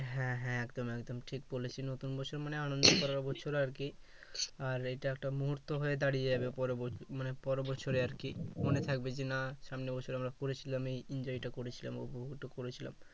হ্যাঁ হ্যাঁ একদম একদম ঠিক বলেছিস নতুন বছর মানে আনন্দ করার বছর আরকি আর এটা একটা মুহুর্ত হয়ে দাড়িয়ে যাবে পরবর্তীতে মানে পরের বছরে আরকি মনে থাকবে যে না সামনের বছরে আমরা করেছিলাম এই enjoy টা করেছিলাম ওইটা করেছিলাম